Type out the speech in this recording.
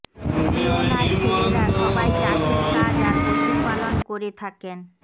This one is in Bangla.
জিওনার ছেলেরা সবাই চাষের কাজ আর পশু পালন করে থাকেন